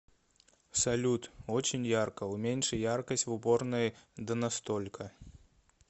салют очень ярко уменьши яркость в уборной да на столько